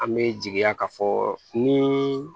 An bɛ jigiya ka fɔ ni